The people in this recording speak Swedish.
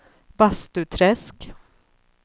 Bastuträsk